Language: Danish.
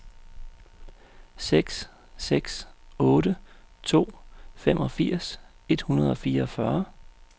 seks seks otte to femogfirs et hundrede og fireogfyrre